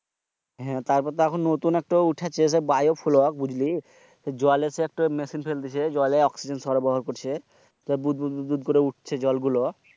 হ্যাঁ তারপর তো নতুন একটা উঠেছে বায়োপ্লোগ বুঝলি? জলে মেশিন পেলে জলে অক্সিজেন সরবরাহ করছে বুদ বুদ করে উঠছে।